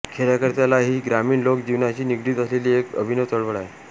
खेडयाकडे चला ही ग्रामीण लोक जीवनाशी निगडित असलेली एक अभिनव चळवळ आहे